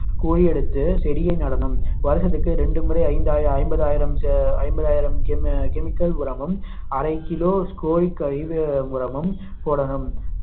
குழி எடுத்து செடியை நடனும் வருஷத்துக்கு இரண்டு முறை ஐந்தாயிரம் ஐம்பதாயிரம் ஐம்பதாயிரம் chemical உரமும் அரை kilo கோழி கருவேல உரமும் போடணும்